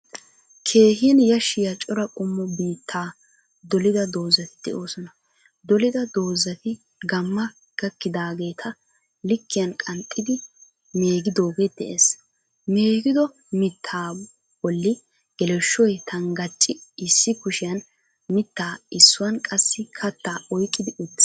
Keehin yaashiya cora qoommo bitta doolida dozati de'oosona. Doolida dozatikka gaamma gaakkidageeta liikkiyan qanxxidi meegidogee de'ees. Meegido miitta boolli geleeshshoy tanggaraci issi kushshiyan miitta issuwan qaasi kaatta oyiiqqi uttiis.